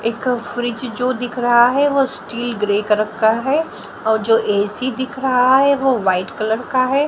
एक फ्रिज जो दिख रहा है वो स्टील ग्रे कलर का है और जो ए_सी दिख रहा है वो वाइट कलर का है।